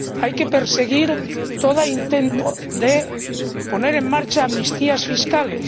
Hay que perseguir todo intento de poner en marcha amnistías fiscales.